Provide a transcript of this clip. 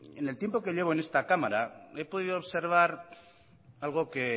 en el tiempo que llevo en esta cámara he podido observar algo que